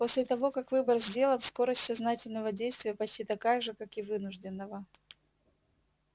после того как выбор сделан скорость сознательного действия почти такая же как и вынужденного